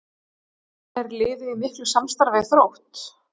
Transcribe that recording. Er liðið í miklu samstarfi við Þrótt?